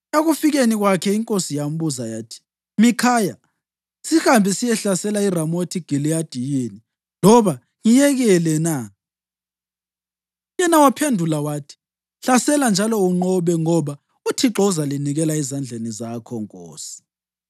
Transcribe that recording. Ekufikeni kwakhe, inkosi yambuza yathi, “Mikhaya, sihambe siyehlasela iRamothi Giliyadi yini, loba ngiyekele na?” Yena waphendula wathi, “Hlasela njalo unqobe, ngoba uThixo uzalinikela ezandleni zakho nkosi.”